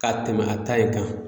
Ka tɛmɛ a ta in kan.